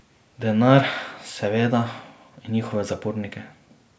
Denar, seveda, in njihove zapornike.